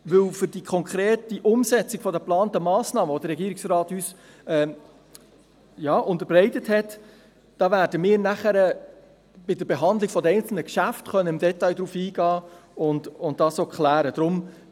Auf die konkrete Umsetzung der geplanten Massnahmen, die der Regierungsrat uns unterbreitet hat, werden wir dann bei der Behandlung der einzelnen Geschäfte im Detail eingehen und Fragen klären können.